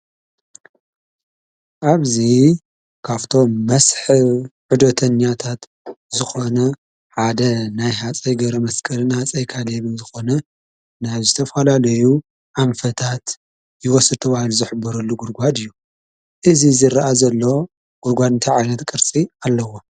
ኣብዚ ካብቶም መስሕብ ዑደተኛታት ዝኮነ ሓደ ናይ ሃፀይ ገረመስቀልን ሃፀይ ካሊብን ዝኮነ ናብ ዝተፈላለዩ ኣንፈታት ዝወስድዋን ዝሕብሩሉን ጉድጓድ እዩ፡፡ እዚ ዝረአ ዘሎ ጉድጓድ እንታይ ዓይነት ቅርፂ ኣለዎ?